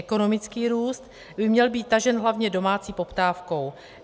Ekonomický růst by měl být tažen hlavně domácí poptávkou.